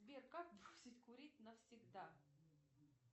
сбер как бросить курить навсегда